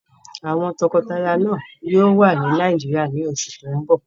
Àwọn tọkọtaya náà yóò wà ní Nàìjíríyà ní oṣù tó n bọ̀